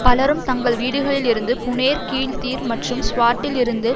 பலரும் தங்கள் வீடுகளில் இருந்து புனேர் கீழ் தீர் மற்றும் ஸ்வாட்டில் இருந்து